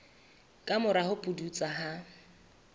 ka mora ho pudutsa ha